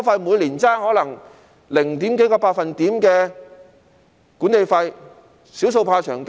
每年可能相差零點幾個百分點的管理費，"少數怕長計"。